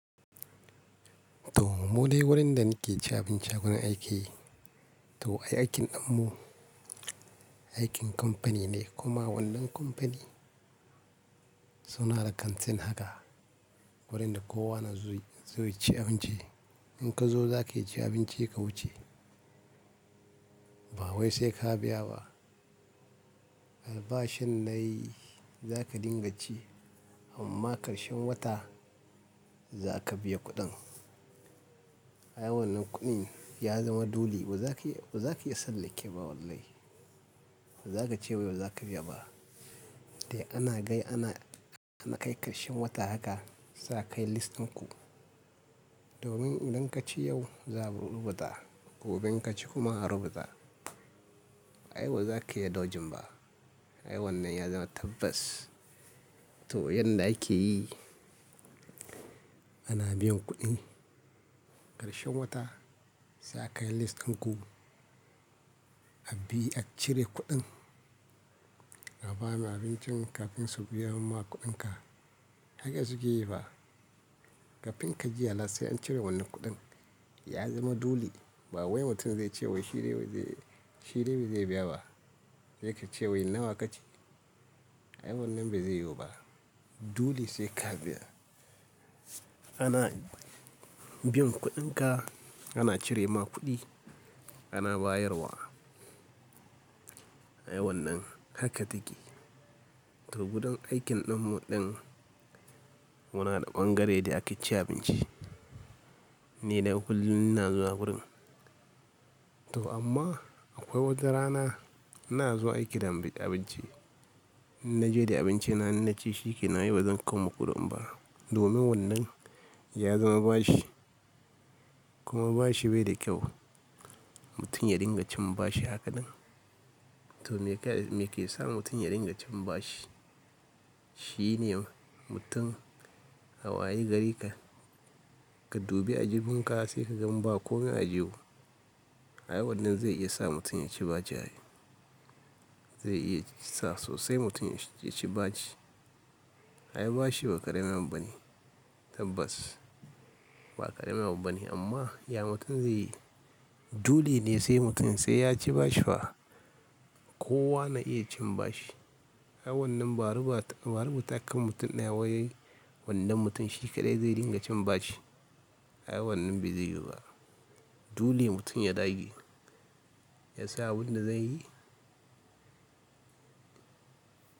To, mu dai wurin da muke ci abinci a wurin aiki. To, ai aikin namu aikin kamfani ne kuma wannan kamfani suna da kantina haka wurin da kowa na zuwa ya ci abinci. In ka zo za ka ci abinci ka wuce. Ba wai sai ka biya ba. Albashin nan za ka dinga ci amma karshen wata za ka biya kuɗin. Ai wannan kuɗin ya zama dole, ba za ka iya tsallake wa ba wallahi. Ba za ka ce wai ba za ka biya ba. Dai ana gai, ana kai karshen wata haka za a kai list ɗinku. Domin idan ka ci yau za a rubuta, gobe ka ci kuma a rubuta. Ai ba za ka iya daujin ba. Ai wannan ya zama tabbas. To yanda ake yi, ana biyan kuɗi karshen wata za a kai list ɗinku, a bi a cire kuɗin. A ba mu abincin kafin su biya mu ma kuɗinka. Haka suke yi ba. Kafin ka ji alert sai an cire wannan kuɗin. Ya zama dule. Ba wai mutum zai ce wai shi dai ba zai biya ba. Zai ka ce wai nawa ka ci? Ai wannan ba zai yiwu ba. Dule sai ka biya. Ana biyan kuɗinka, ana cire ma kuɗi, ana bayarwa. Ai wannan haka take. To gudan aikin ɗinmu muna da ɓangare dai ake cin abinci. Ni dai kullum ina zuwa wurin. To amma akwai wata rana ina zuwa aiki da bi ci abinci. Na je da abinci na, in na ci shikenan, yau bai zan kawo muku kuɗin ba. Domin wannan ya zama bashi. Kuma bashi bai da kyau. Mutum ya dinga cin bashi haka ɗan. To me ke sa mutum ya dinga cin bashi? Shi ne mutum a waye gari ka, ka dubi aljiwun ka sai ka ga ba ko me ajiye ba. Ai wannan zai iya sa mutum ya ci bacci. Zai iya sa sosai mutum ya ci bacci. Ai bashi ba ƙaryayaɓa bane. Tabbas ba ƙaryayaɓa bane amma ya mutum zai yi? Dole ne sai mutum sai ya ci bashi fa. Kowa na iya cin bashi. Ai wannan ba a rubuta akan mutum na waye wannan mutum shi kaɗai zai dinga cin bashi. Ai wannan bai zai yiwu ba. Dole mutum ya dage, ya sa wuri na zai yi.